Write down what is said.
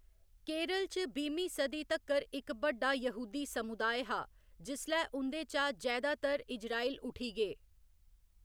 केरल च बीह्‌मीं सदी तक्कर इक बड्डा यहूदी समुदाय हा जिसलै उं'दे चा जैदातर इजराइल उठी गे।